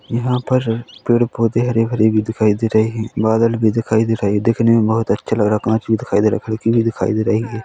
यहाँ पर पेड़-पौधे हरे-भरे भी दिखाई दे रहें हैं बादल भी दिखाई दे रहा दिखने मे बहुत अच्छा लग रहा हैं कांच भी दिखाई दे रहा हैं खिड़की भी दिखाई दे रही हैं।